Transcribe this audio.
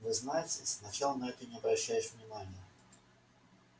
вы знаете сначала на это не обращаешь внимания